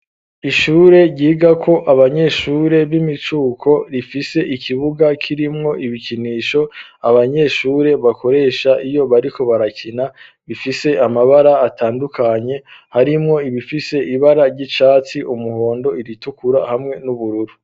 Ishure ryigako abanyeshure b'imicuko rifise ikibuga kirimwo ibikinisho abanyeshure bakoresha iyo bariko barakina bifise amabara atandukanye harimwo ibifise ibara , umuhondo iritukura ,hamwe n'ubururu .